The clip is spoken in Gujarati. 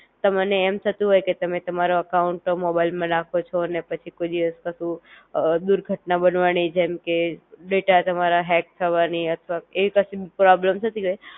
તમને એમ થતું હોય કે તમે તમારો અકાઉંટ મોબાઈલ માં નાખો છો ને પછી કોઈ દિવસ કસુ અ દુર્ઘટના બનવાની જેમકે ડેટા તમારા હેક થવાની અથવા એવી કશું પ્રૉબ્લેમ થતી હોય